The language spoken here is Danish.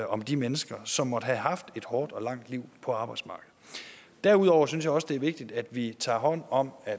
om de mennesker som måtte have haft et hårdt og langt liv på arbejdsmarkedet derudover synes jeg også det er vigtigt at vi tager hånd om at